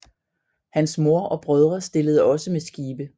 Hans mor og brødre stillede også med skibe